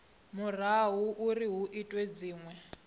murahu uri hu itwe dzinwe